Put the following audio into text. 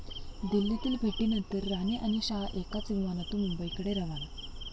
दिल्लीतील भेटीनंतर राणे आणि शहा एकाच विमानातून मुंबईकडे रवाना!